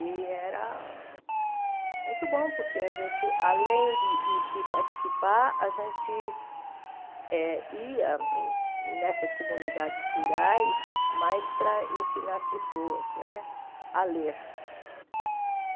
E era muito bom, porque a gente, além de de de de participar, a gente eh ia nessas comunidades rurais mais para ensinar as pessoas né a ler.